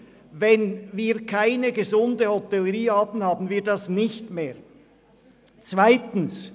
Wenn wir keine gesunde Hotellerie haben, wird dieses Forum nicht mehr bei uns stattfinden.